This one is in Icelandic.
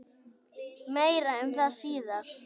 Meira um það síðar.